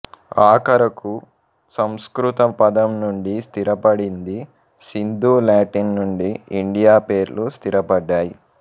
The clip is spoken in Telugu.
ఆఖరుకు సంస్కృత పదం నుండి స్థిరపడింది సింధు లాటిన్ నుండి ఇండియా పేర్లు స్థిరపడ్డాయి